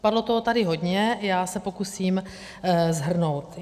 Padlo tady toho hodně, já se pokusím shrnout.